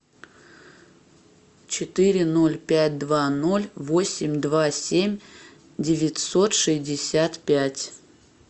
четыре ноль пять два ноль восемь два семь девятьсот шестьдесят пять